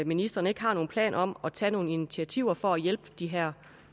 ministeren ikke har nogen planer om at tage nogle initiativer for at hjælpe de her